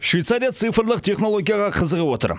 швейцария цифрлық технологияға қызығып отыр